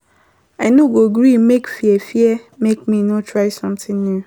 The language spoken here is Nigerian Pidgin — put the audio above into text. I no go gree make fear fear make me no try sometin new.